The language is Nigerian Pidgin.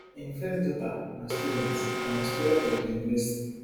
im first daughter na student and na student of di university